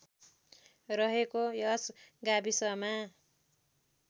रहेको यस गाविसमा